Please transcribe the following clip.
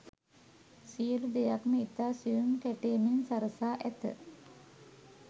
සියලු දෙයක්ම ඉතා සියුම් කැටයමින් සරසා ඇත.